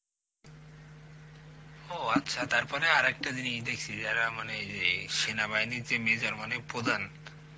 ও আচ্ছা, তারপরে আরেকটা জিনিস দেখছি যারা মানে যে সেনাবাহিনীর যে major মানে প্রধান